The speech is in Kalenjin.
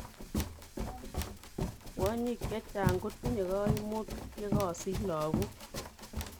Kwonyik chechang' kotinye kaimutik yekasich logok